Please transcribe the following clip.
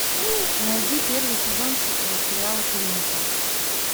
найди первый сезон сериала клиника